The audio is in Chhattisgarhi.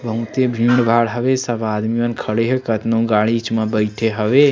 बहुत ही भीड़ भाड़ हवे सब आदमी मन खड़े हे कतनो गाड़ी च म बइठे हवे।